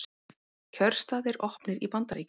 Kjörstaðir opnir í Bandaríkjunum